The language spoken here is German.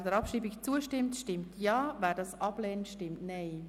Wer der Abstimmung zustimmt, stimmt Ja, wer diese ablehnt, stimmt Nein.